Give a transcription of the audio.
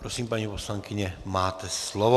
Prosím, paní poslankyně, máte slovo.